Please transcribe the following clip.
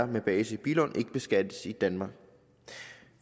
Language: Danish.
med base i billund ikke beskattes i danmark